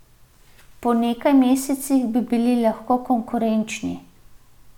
Po nekaj mesecih bi bili lahko konkurenčni.